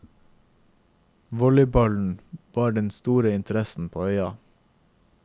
Volleyballen var den store interessen på øya.